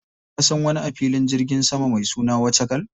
Ka san wani a filin jirgin sama mai suna Wachakal?